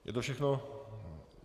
Je to všechno?